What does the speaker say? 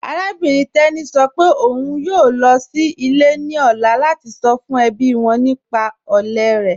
Arábìnrin Teni sọ́ pẹ̀ ọ̀un ń yoo lọ sí ilẹ̀ ni ọ̀lá lati sọ́ fún ẹbí wọn nípà òlè rẹ.